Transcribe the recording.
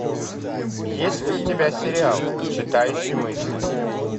есть ли у тебя сериал читающий мысли